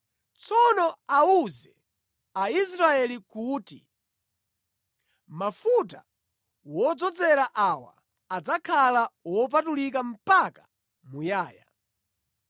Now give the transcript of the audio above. Tsono awuze a Israeli kuti, mafuta wodzozera awa adzakhala wopatulika mpaka muyaya.